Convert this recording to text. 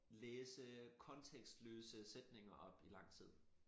Læse kontekstløse sætninger op i lang tid